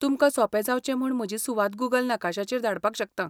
तुमकां सोंपें जावचें म्हूण म्हजी सुवात गूगल नकाशाचेर धाडपाक शकतां.